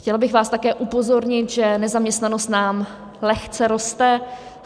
Chtěla bych vás také upozornit, že nezaměstnanost nám lehce roste.